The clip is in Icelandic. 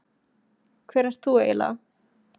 Hver ert þú eiginlega?